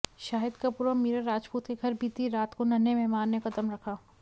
शाहिद कपूर और मीरा राजपूत के घर बीती रात को नन्हें मेहमान ने कदम रखा